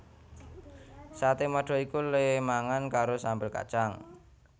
Sate Madura iku lé mangan karo sambel kacang